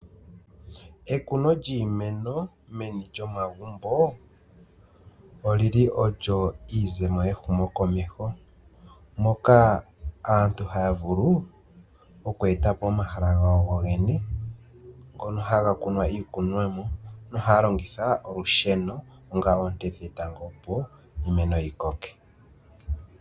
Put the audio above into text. Ekuno lyiimeno meni lyomagumbo olyi li olyo iizemo yehumo komeho, moka aantu haya vulu oku eta po omahala gawo go geno ngono haga kunwa iikunwa mo nohaya longitha olusheno ongaa oonte dhetango opo iimeno yi koke.